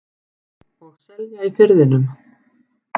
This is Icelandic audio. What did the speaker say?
Og selja í Firðinum.